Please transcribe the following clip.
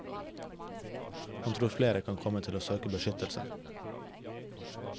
Han tror flere kan komme til å søke beskyttelse.